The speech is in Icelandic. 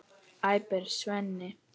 æpir Svenni.